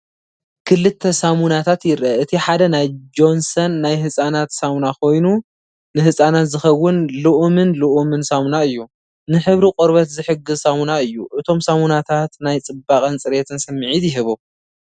ክልተ ሳሙናታት ይርአ። እቲ ሓደ ናይ ጆንሰን ናይ ህጻናት ሳሙና ኮይኑ፡ ንህጻናት ዝኸውን ልኡምን ልኡምን ሳሙና እዩ። ንሕብሪ ቆርበት ዝሕግዝ ሳሙና እዩ። እቶም ሳሙናታት ናይ ጽባቐን ጽሬትን ስምዒት ይህቡ።